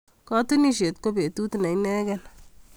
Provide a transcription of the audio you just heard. Katunisyet ko betut ne inegei.